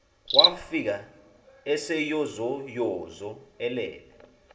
wafika eseyozoyozo elele